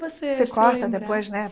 você se lembrar Você corta depois, né?